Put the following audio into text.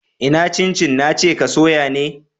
Ina cin cin na ce ka soya ni?